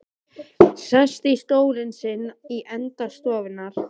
Sest í stólinn sinn í enda stofunnar.